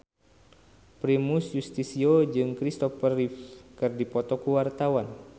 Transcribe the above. Primus Yustisio jeung Kristopher Reeve keur dipoto ku wartawan